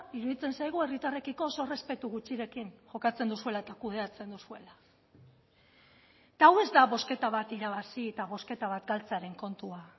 iruditzen zaigu herritarrekiko oso errespetu gutxirekin jokatzen duzuela eta kudeatzen duzuela eta hau ez da bozketa bat irabazi eta bozketa bat galtzearen kontua